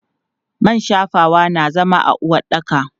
Man shafawa na zama a uwaɗɗaka.